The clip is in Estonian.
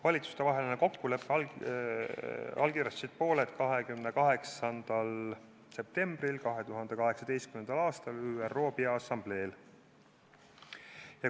Valitsustevahelise kokkuleppe allkirjastasid pooled 28. septembril 2018. aastal ÜRO Peaassamblee istungjärgul.